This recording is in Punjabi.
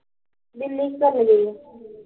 ਦਿੱਲੀ ਕੀ ਕਰਨ ਗਈ ਐ